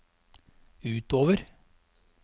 utover